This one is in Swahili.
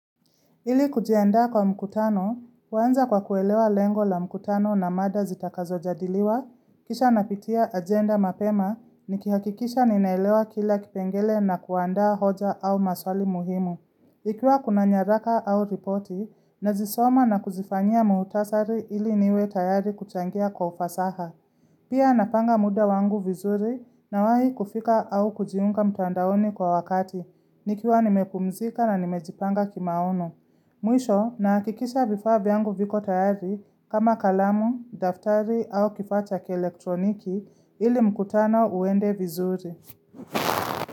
Ili kujiandaa kwa mkutano, huanza kwa kuelewa lengo la mkutano na mada zitakazojadiliwa, kisha napitia agenda mapema, nikihakikisha ninaelewa kila kipengele na kuandaa hoja au maswali muhimu. Ikiwa kuna nyaraka au ripoti, nazisoma na kuzifanyia mukhtasari ili niwe tayari kuchangia kwa ufasaha. Pia napanga muda wangu vizuri nawahi kufika au kujiunga mtandaoni kwa wakati, nikiwa nimepumzika na nimejipanga kimaono. Mwisho nahakikisha vifaa vyangu viko tayari kama kalamu, daftari au kifata kielektroniki ili mkutano uende vizuri.